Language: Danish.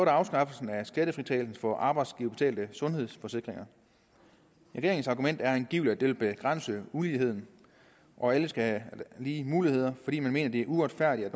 afskaffelsen af skattefritagelsen for arbejdsgiverbetalte sundhedsforsikringer regeringens argument er angiveligt at det vil begrænse uligheden og at alle skal have lige muligheder fordi man mener det er uretfærdigt at